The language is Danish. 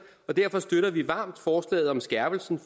og derfor støtter vi varmt forslaget om skærpelse i